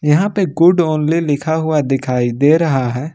यहां पर good only लिखा दिखाई दे रहा है।